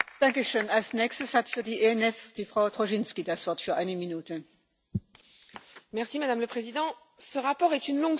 Madame le Président, ce rapport est une longue suite de conditions que vous érigez en alpha et oméga de l'action de l'Union européenne dans ses relations extérieures.